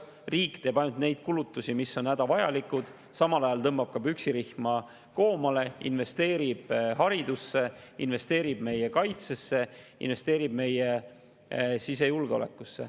Riik teeb ainult neid kulutusi, mis on hädavajalikud, tõmbab püksirihma koomale, aga samal ajal investeerib haridusse, investeerib meie kaitsesse, investeerib meie sisejulgeolekusse.